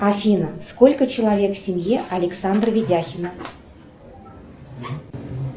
афина сколько человек в семье александра ведяхина